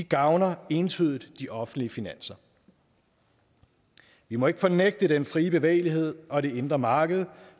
gavner entydigt de offentlige finanser vi må ikke fornægte den fri bevægelighed og det indre marked